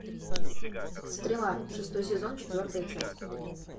стрела шестой сезон четвертая часть